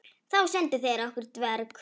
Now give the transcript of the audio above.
Þá sendu þeir okkur dverg.